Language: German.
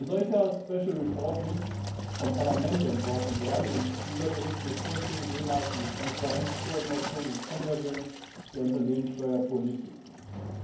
Ein solcher special report muss vom Parlament entworfen werden, und dieser Bericht muss Vorschläge wie Transparenzkoordination und Konvergenz der Unternehmenssteuerpolitiken beinhalten.